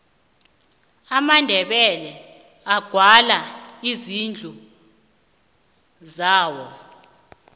amandebele agwala izindlu zawo